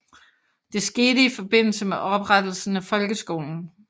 Det skete i forbindelse med oprettelsen af folkeskolen